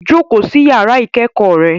Jókòó sí yàrá ìkẹ́kọ̀ọ́ rẹ